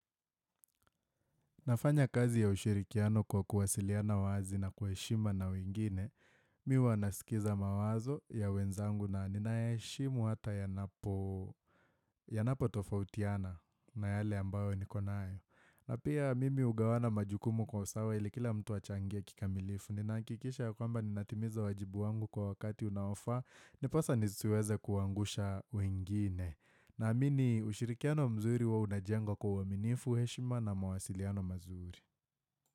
Nafanya kazi ya ushirikiano kwa kuwasiliana wazi na kwa heshima na wengine, mimi huwa nasikiza mawazo ya wenzangu na ninayaheshimu hata yanapotofautiana na yale ambayo niko nayo. Na pia mimi hugawana majukumu kwa usawa ili kila mtu achangie kikamilifu, ninahakikisha ya kwamba ninatimiza wajibu wangu kwa wakati unaofaa, ndiposa nisiweze kuwaangusha wengine. Naamini ushirikiano mzuri huwa unajengwa kwa aminifu, heshima na mwasiliano mazuri.